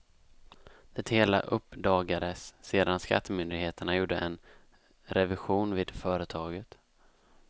Det hela uppdagades sedan skattemyndigheterna gjorde en revision vid företaget.